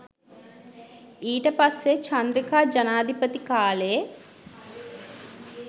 ඊට පස්සේ චන්ද්‍රිකා ජනාධිපති කාලෙ